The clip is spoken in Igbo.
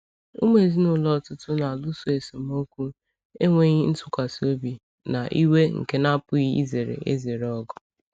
Ụmụ ezinụlọ ọtụtụ na-alụso esemokwu, enweghị ntụkwasị obi, na iwe nke na-apụghị izere ezere ọgụ.